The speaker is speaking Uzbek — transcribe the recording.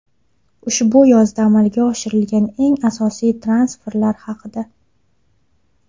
Ushbu yozda amalga oshirilgan eng asosiy transferlar haqida !